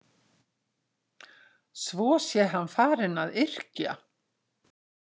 Svo sé hann farinn að yrkja.